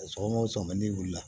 Sɔgɔma o sɔngɔ n'i wulila